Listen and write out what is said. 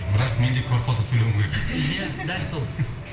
бірақ мен де квартплата төлеуім керек иә дәл сол